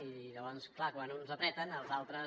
i llavors clar quan uns apreten els altres